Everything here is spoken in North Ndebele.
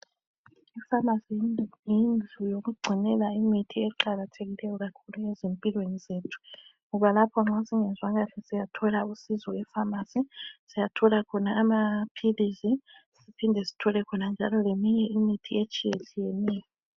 I pharmacy yindlu yokugcinela imithi eqakathekileyo kakhulu ezimpilweni zethu ngoba lapho nxa sisiyathola usizo epharmacy siyathola khona amaphilizi siphinde sithole khona njalo leminye imithi etshiyetshiyeneyo